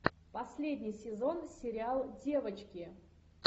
последний сезон сериал девочки